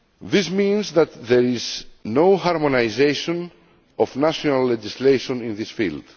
This means that there is no harmonisation of national legislation in this field.